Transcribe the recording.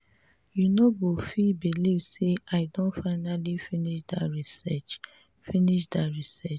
you no go fit believe say i don finally finish dat research finish dat research